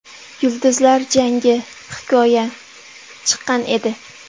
Yulduzlar jangi: Hikoya” chiqqan edi.